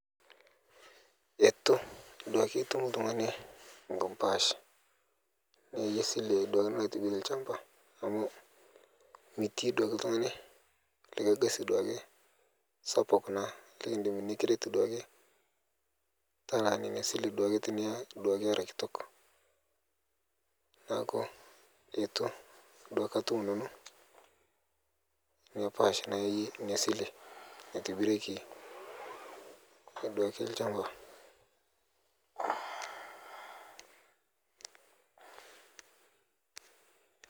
Etu duake itum ltung'ani ngi pash niyae sile duake naitibire lchamba amuu mitii duake ltung'ani likae gasi duake sapuk naa likidim nikiretu duake talaa neina sile duake tiniya duake era kitok. Naaku etu duake atum nanu nia pash nayaie inia sile naitibireki na duake lchamba.